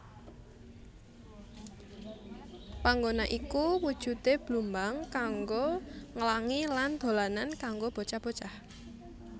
Panggona iku wujude blumbang kanggo nglangi lan dolanan kanggo bocah bocah